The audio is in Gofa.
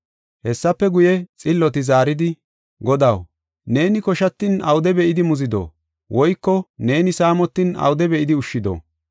“Hessafe guye, xilloti zaaridi, ‘Godaw, neeni koshatin awude be7idi muzido? Woyko neeni saamotin awude be7idi ushshido?